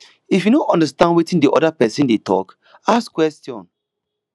if you no understand wetin di oda person dey talk ask question